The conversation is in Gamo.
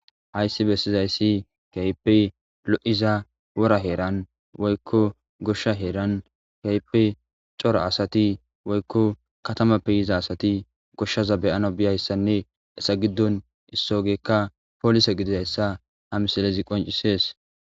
Hayssi bessizayssi keehippe lo'iza wora heeran woykko gooshsha heeran keehhippe cora asati woykko katamappe yiza asati gooshshaza beyana biyayssanne hessa giddon issogeykka poolisa gidizayssa hamisilezi qoncisees